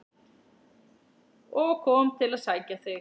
og kom til að sækja þig.